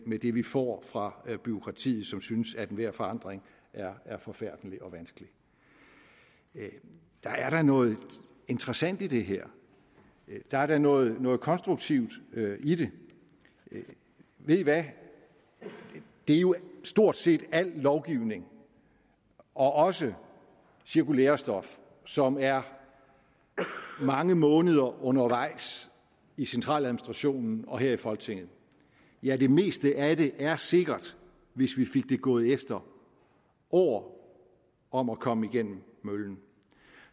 med det vi får fra bureaukratiet som synes at enhver forandring er er forfærdelig og vanskelige der er da noget interessant i det her der er da noget noget konstruktivt i det ved i hvad det er jo stort set al lovgivning og også cirkulærestof som er mange måneder undervejs i centraladministrationen og her i folketinget ja det meste af det er sikkert hvis vi fik det gået efter år om at komme igennem møllen